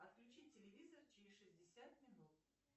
отключи телевизор через шестьдесят минут